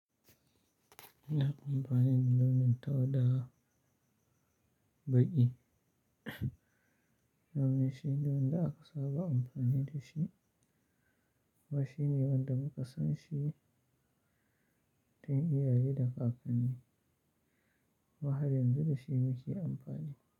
Ina amfani da launin tau da baƙi, launin shine wanda aka saɓa amfani da shi kuma shine wanda muka san shi tun iyaye da kakanni. Wai har yanzu da shi muke amfani.